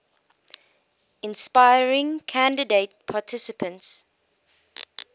inspiring candidate participants